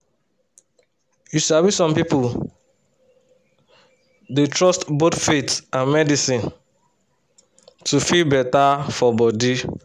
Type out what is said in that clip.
you sabi some pipo dey trust both faith and medicine to feel better for body.